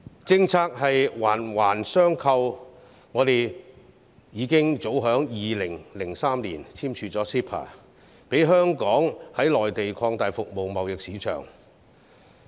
政策是環環相扣的，香港早在2003年已簽署 CEPA， 讓香港可以在內地擴大服務貿易市場。